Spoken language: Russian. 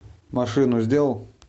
машину сделал